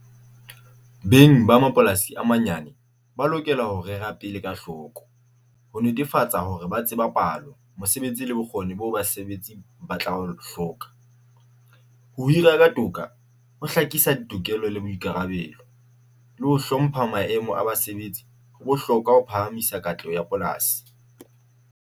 Beng ba mapolasi a manyane ba lokela ho rera pele ka hloko ho netefatsa hore ba tseba palo. Mosebetsi le bokgoni bo basebetsi ba tla o hloka ho hira ka toka, ho hlakisa ditokelo le boikarabelo le ho hlompha maemo a basebetsi. Ho bohlokwa ho phahamisa katleho ya polasi.